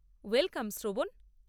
Welcome, শ্রবণ।